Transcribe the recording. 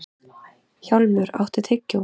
Hjálmur, áttu tyggjó?